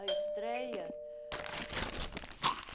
A estreia?